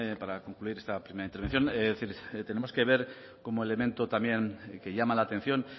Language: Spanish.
para concluir esta primera intervención es decir tenemos que ver como elemento también que llama la atención